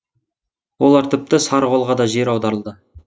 олар тіпті сарықолға да жер аударылды